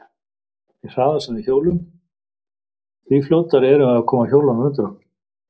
Því hraðar sem við hjólum, því fljótari erum við að koma hjólunum undir okkur.